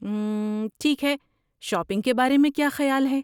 اممم، ٹھیک ہے، شاپنگ کے بارے میں کیا خیال ہے؟